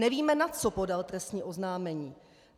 Nevíme, na co podal trestní oznámení.